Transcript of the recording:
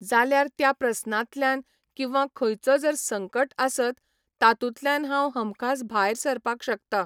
जाल्यार त्या प्रस्नांतल्यान किंवा खंयचो जर संकट आसत तातूंतल्यान हांव हमखास भायर सरपाक शकता